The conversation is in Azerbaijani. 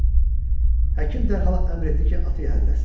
Həkim dərhal əmr etdi ki, atı hərrləsinlər.